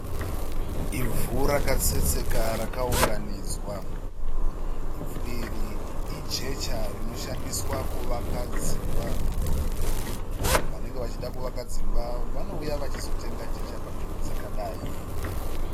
Ivhu rakaseseka rakaunganidzwa. Ivhu iri ijecha rinoshandiwa kuvaka dzimba, vanhu vanenge vachida kuvaka dzimba vanouya vachitenga jecha panzvimbo dzakadai.